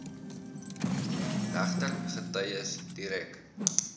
regter getuies direk